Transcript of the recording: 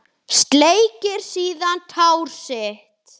Sleikir síðan tár sitt.